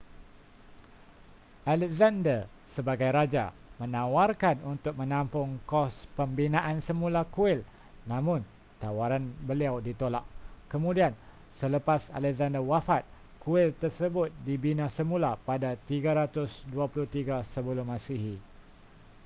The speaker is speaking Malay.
alexander sebagai raja menawarkan untuk menampung kos pembinaan semula kuil namun tawaran beliau ditolak kemudian selepas alexander wafat kuil tersebut dibina semula pada 323 sm